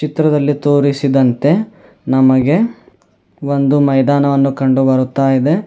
ಚಿತ್ರದಲ್ಲಿ ತೋರಿಸಿರುವಂತೆ ನಮಗೆ ಒಂದು ಮೈದಾನವನ್ನು ಕಂಡು ಬರುತ್ತ ಇದೆ.